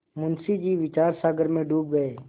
मुंशी जी विचारसागर में डूब गये